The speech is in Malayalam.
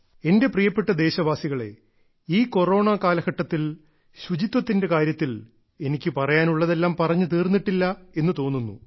എന്റെ പ്രിയപ്പെട്ട ദേശവാസികളേ ഈ കൊറോണ കാലഘട്ടത്തിൽ ശുചിത്വത്തിന്റെ കാര്യത്തിൽ എനിക്ക് പറയാനുള്ളതെല്ലാം പറഞ്ഞു തീർന്നിട്ടില്ല എന്ന് തോന്നുന്നു